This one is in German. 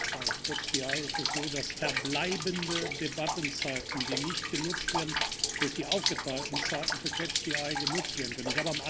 Bei ist es so, dass verbleibende Debattenzeiten, die nicht genutzt werden, durch die aufgeteilten Zeiten für genutzt werden können.